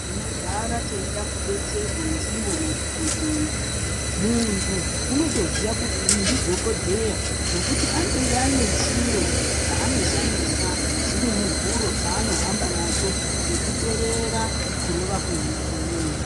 Tinogara teyida kudetserwe ndiwo madhokodheya. Muntu unotoziya kuti uyu ndidhokodheya nokuti anenge anechiro chanoshandisa chirimuwuro chanohamba nacho chekuterera kurova kwehana kwemunthu.